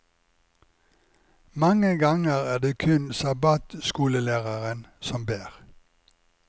Mange ganger er det kun sabbatskolelæreren som ber.